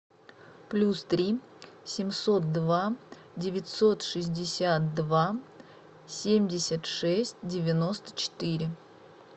плюс три семьсот два девятьсот шестьдесят два семьдесят шесть девяносто четыре